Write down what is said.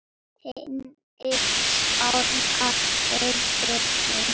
Henni sárnar hvernig